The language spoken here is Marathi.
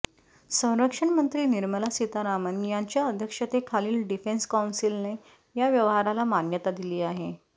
संरक्षण मंत्री निर्मला सीतारामन यांच्या अध्यक्षतेखालील डिफेन्स कौन्सिलने या व्यवहाराला मान्यता दिली आहे